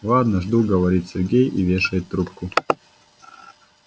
ладно жду говорит сергей и вешает трубку